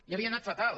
i havia anat fatal